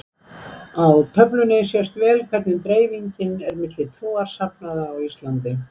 Í töflunni sést vel hvernig dreifingin er milli trúarsafnaða á Íslandi.